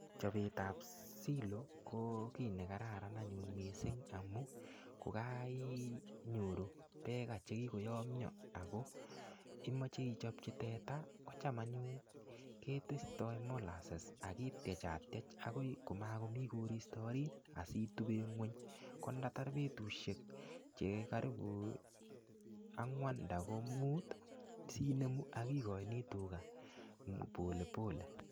Chobetap silo, ko kiy ne kararan anyun missing amu, ngokainyoru beek any che kikoyamyo, ako imache ichapchi teta, kocham anyun ketestoi molasses akitiechatiej akoi komakomii koiristo orit, asitube nguny. Ko ndatar betusiek che karibu angwan ndako mut, sinemu akikochini tuga polepole.